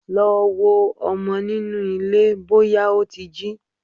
Lọ wo ọmọ nínú ilé bọ́yá ó ti jí!